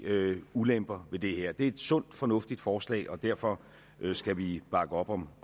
ulemper ved det her det er et sundt og fornuftigt forslag og derfor skal vi bakke op om